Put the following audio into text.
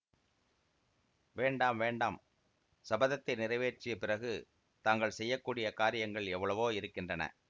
வேண்டாம் வேண்டாம் சபதத்தை நிறைவேற்றிய பிறகு தாங்கள் செய்ய கூடிய காரியங்கள் எவ்வளவோ இருக்கின்றன